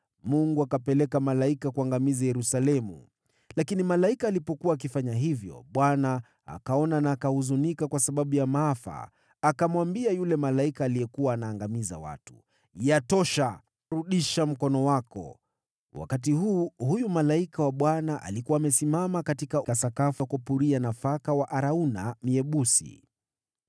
Mungu akapeleka malaika kuangamiza Yerusalemu. Lakini malaika alipokuwa akifanya hivyo, Bwana akaona na akahuzunika kwa sababu ya maafa, akamwambia yule malaika aliyekuwa anaangamiza watu, “Yatosha! Rudisha mkono wako.” Wakati huo malaika wa Bwana alikuwa amesimama katika sakafu ya kupuria nafaka ya Arauna Myebusi.